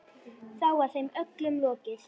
Þá var þeim öllum lokið.